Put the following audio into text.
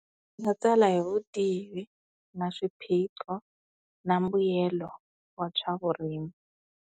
Ni nga tsala hi vutivi na swiphiqo na mbuyelo wa swa vurimi.